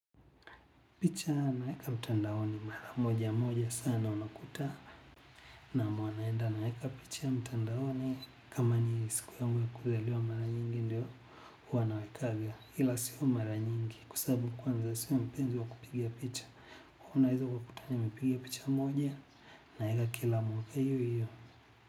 Picha naeka mtandaoni mara moja moja sana una kuta naam huwa naenda naeka picha mtandaoni kama ni siku yangu ya kuzaliwa mara nyingi ndio huwa nanawekanga ila sio mara nyingi kwasababu kwanza sio mpenzi wa kupiga picha unaeza ukakuta nimepiga picha moja naeka kila moja hiyo hiyo.